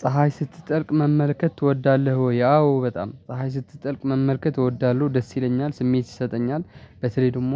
ፀሀይ ስትጠልቅ መመልከት ትወዳለህ ወይ? አዎ በጣም ፀሀይ ስትጠልቅ መመልከት እወዳለሁ ደስ ይለኛል ስሜት ይሰጠኛል። በተለይ ደግሞ